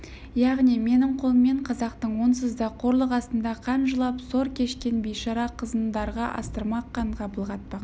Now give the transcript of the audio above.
яғни менің қолыммен қазақтың онсыз да қорлық астында қан жылап сор кешкен бейшара қызын дарға астырмақ қанға былғатпақ